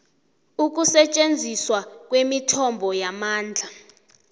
ukusetjenziswa kwemithombo yamandla